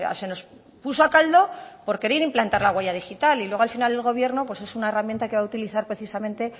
se nos puso a caldo por querer implantar la huella digital y luego al final el gobierno pues es una herramienta que va a utilizar precisamente